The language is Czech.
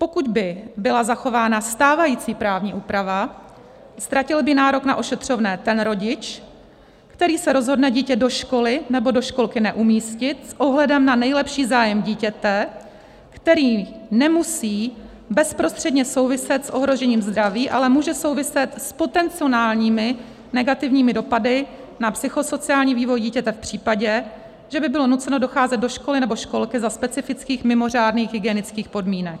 Pokud by byla zachována stávající právní úprava, ztratil by nárok na ošetřovné ten rodič, který se rozhodne dítě do školy nebo do školky neumístit s ohledem na nejlepší zájem dítěte, který nemusí bezprostředně souviset s ohrožením zdraví, ale může souviset s potenciálními negativními dopady na psychosociální vývoj dítěte v případě, že by bylo nuceno docházet do školy nebo školky za specifických mimořádných hygienických podmínek.